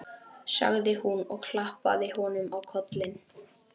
sagði hún og klappaði honum á kollinn.